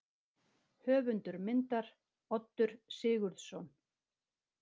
Höfundur myndar: Oddur Sigurðsson.